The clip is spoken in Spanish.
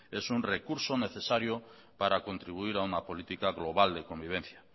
es un recurso necesario para contribuir a una política global de convivencia